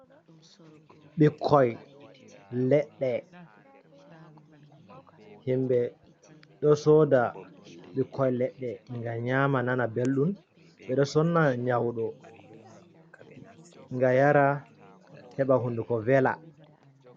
Ɓikkoi leɗɗe, himɓe ɗo soda ɓikkoi leɗɗe ngam nyama nana belɗum, ɓeɗo sonna nyaudo ngam yara heɓa hunduko vela.